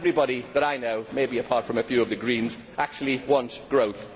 Everybody that I know maybe apart from a few of the Greens actually wants growth.